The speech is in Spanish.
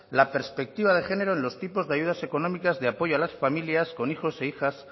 la perspectiva de género en los tipos de ayudas económicas de apoyo a las familias con hijos e hijas